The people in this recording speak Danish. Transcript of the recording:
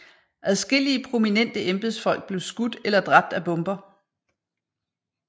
Adskillige prominente embedsfolk blev skudt eller dræbt af bomber